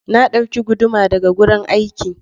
Na dauki guduma daga gurin aiki.